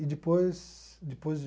E depois depois